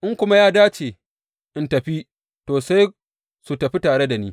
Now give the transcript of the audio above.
In kuma ya dace in tafi, to, sai su tafi tare da ni.